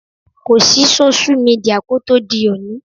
Kò sí sóṣú midià kó tó di òní